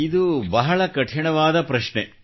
ಇದು ಬಹಳ ಕಠಿಣವಾದ ಪ್ರಶ್ನೆ